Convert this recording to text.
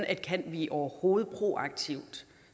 vi overhovedet proaktive